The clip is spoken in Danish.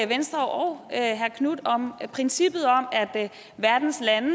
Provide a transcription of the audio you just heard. venstre og herre marcus knuth om princippet om at verdens lande